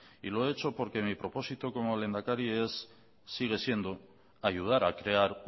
y lo he hecho porque mi propósito como lehendakari es y sigue siendo ayudar a crear